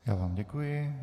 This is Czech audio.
Já vám děkuji.